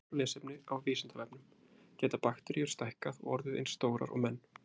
Frekara lesefni á Vísindavefnum: Geta bakteríur stækkað og orðið eins stórar og menn?